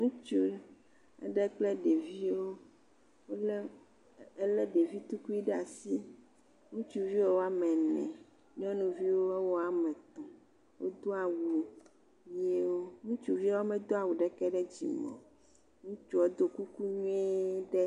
Ŋutsu aɖe kple ɖeviwo, ele ɖevi ɖe asi. Ŋutsuvi woa me ene , nyɔnuviwo woa me etɔ. Wodo awu ʋiwo. Ŋutsuviawo me do awu ɖeke ɖe dzi o. Ŋutsua ɖo kuku ʋi ɖe ta.